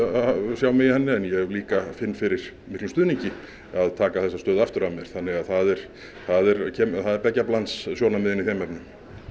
sjá mig í henni en ég líka finn fyrir miklum stuðningi að taka þessa stöðu aftur að mér þannig að það er beggja blands sjónarmiðin í þeim efnum